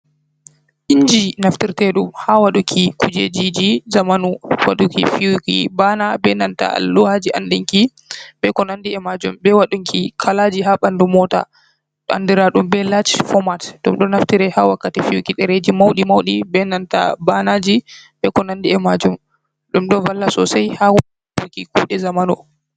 Inji naftirteɗum ha waɗuki kujejiji zamanu waɗuki fiyuki bana be nanta alluha ji andinki be ko nandi e majum, be wadunki kalaji ha ɓandu mota andira ɗum be large format, ɗum ɗo naftire ha wakkati fiyuki dereji mauɗi mauɗi, be nanta bana ji, be ko nandi e majum, ɗum ɗo valla sosai ha waɗuki kuɗe zamanu.